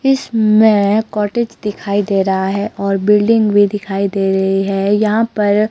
इसमें कॉटेज दिखाई दे रहा है और बिल्डिंग भी दिखाई दे रही हैं। यहां पर--